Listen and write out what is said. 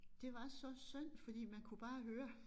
Det var så synd fordi man kunne bare høre